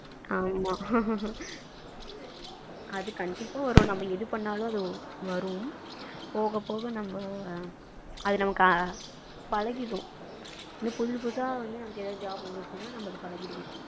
ஆமா அது கண்டிப்பா வரும் நம்ம எது பண்ணாலும் அது வரும் போக போக நம்ம அது நமக்கு பழகிடும் இன்னும் புதுசு புதுசா வந்து நமக்கு job வந்துச்சுன்னா நமக்கு பழகிடும்